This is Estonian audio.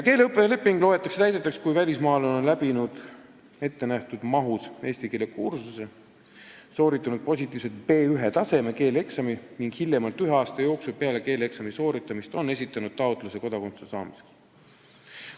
Keeleõppeleping loetakse täidetuks, kui välismaalane on läbinud eesti keele kursuse ettenähtud mahus, sooritanud positiivsele hindele B1-taseme keeleeksami ning esitanud hiljemalt ühe aasta jooksul peale keeleeksami sooritamist taotluse kodakondsuse saamiseks.